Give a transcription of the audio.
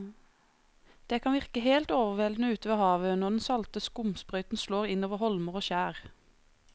Det kan virke helt overveldende ute ved havet når den salte skumsprøyten slår innover holmer og skjær.